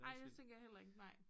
Ej det tænker jeg heller ikke nej